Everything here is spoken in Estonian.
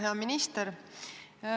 Hea minister!